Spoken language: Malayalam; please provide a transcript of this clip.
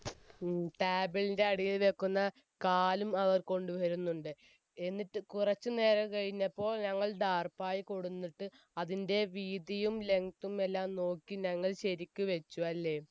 ഉം table ൻറെ അടിയിൽ വെക്കുന്ന കാലും അവർ കൊണ്ടുവരുന്നുണ്ട് എന്നിട് കുറച്ച് നേരം കഴിഞ്ഞപ്പോൾ ഞങ്ങൾ ടാർപായ കൊടുന്നിട്ട് അതിൻ്റെ വീതിയും length തും എല്ലാം നോക്കി ഞങ്ങൾ ശരിക്കു വെച്ച് അല്ലെ